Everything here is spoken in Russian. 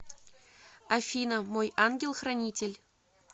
афина мой ангел хранитель